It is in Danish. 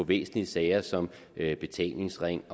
væsentlige sager som betalingsring